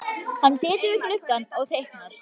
Hann situr við gluggann og teiknar.